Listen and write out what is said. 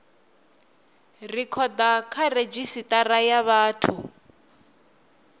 rekhoda kha redzhisitara ya vhathu